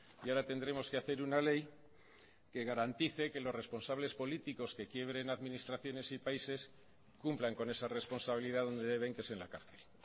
y ahora tendremos que hacer una ley que garantice que los responsables políticos que quiebren administraciones y países cumplan con esa responsabilidad donde deben que es en la cárcel